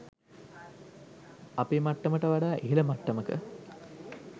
අපේ මට්ටමට වඩා ඉහල මට්ටමක